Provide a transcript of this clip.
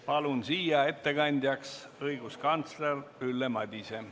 Palun ettekandjaks õiguskantsler Ülle Madise.